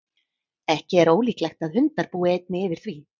ekki er ólíklegt að hundar búi einnig yfir því